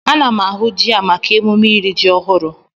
Ana m ahụ ji a maka ememme iri ji ọhụrụ.